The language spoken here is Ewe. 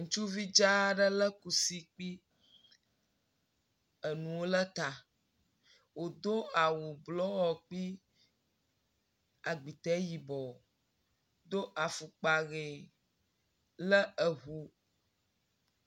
Ŋutsuvi dzaa aɖe lé kusi kpli enuo ɖe ta, wòdo awu blɔ kpli agbitɛ yibɔ, do afɔkpa ʋe le eŋu…